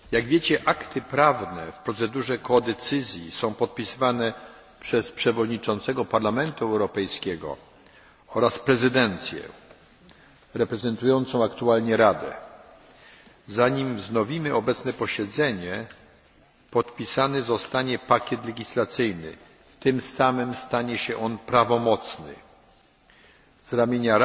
Akty prawne w procedurze współdecyzji są podpisywane przez przewodniczącego Parlamentu Europejskiego oraz prezydencję, reprezentującą aktualnie Radę. Zanim wznowimy posiedzenie podpisany zostanie pakiet legislacyjny, tym samym stanie się on prawomocny. Z ramienia Rady